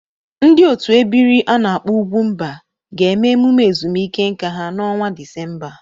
Ndị otu ebiri a na-akpo ugwumba ga-eme emume ezumike nka ha n'ọnwa Disemba a.